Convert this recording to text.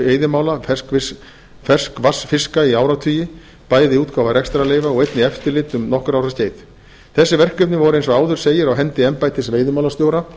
veiðimála ferskvatnsfiska í áratugi bæði útgáfa rekstrarleyfa og einnig eftirlit um nokkurra ára skeið þessi verkefni voru eins og áður segir á hendi embættis veiðimálastjóra